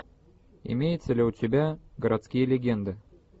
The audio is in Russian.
имеется ли у тебя городские легенды